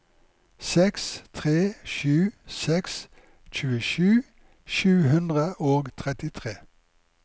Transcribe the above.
seks tre sju seks tjuesju sju hundre og trettitre